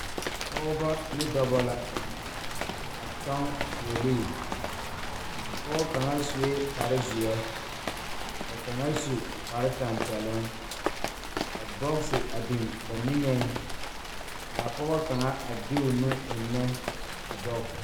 Pɔgeba ne dɔba la a kyɔŋ fuolii a pɔge kaŋ sue kparezeɛ ka kaŋ su kparetɛmpɛloŋ ka bɔgse a biŋ ba niŋ k,a pɔge kaŋa a de o nu eŋnɛ a bɔgse.